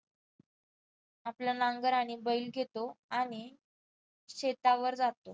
आपला नांगर आणि बैल घेतो आणि शेतावर जातो.